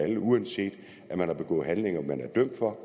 alle uanset at man har begået handlinger man er dømt for